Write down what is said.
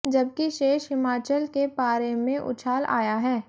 जबकि शेष हिमाचल के पारे मंे उछाल आया है